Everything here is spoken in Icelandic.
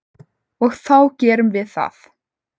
Og þá gerum við það.